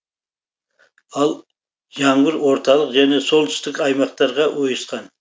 ал жаңбыр орталық және солтүстік аймақтарға ойысқан